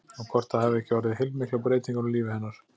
Og hvort það hafi ekki orðið heilmiklar breytingar á lífi hennar?